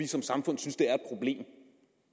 som samfund er det